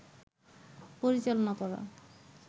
পরিচালনা করা